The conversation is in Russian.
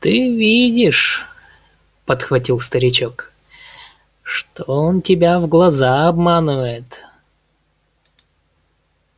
ты видишь подхватил старичок что он тебя в глаза обманывает